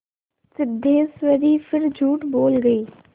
सिद्धेश्वरी फिर झूठ बोल गई